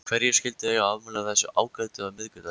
Hverjir skyldu eiga afmæli á þessum ágæta miðvikudegi?